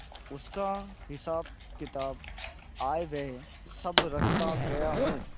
उसका हिसाबकिताब आयव्यय सब रखता गया हूँ